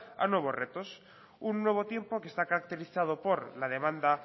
a nuevos retos un nuevo tiempo que está caracterizado por la demanda